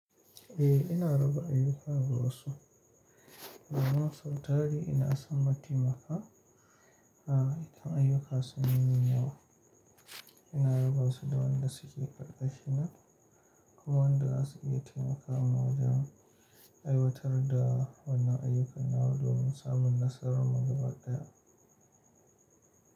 Eh, ina raba ayyuka ga wasu. Wannan sau tari ina san mataimaka a idan ayyuka sun min yawa. Ina raba su da wayanda suke ƙarƙashina ko wayanda su iya taimakawa wajen aiwatar da wannan ayyukana domin samun nasarar muga baya.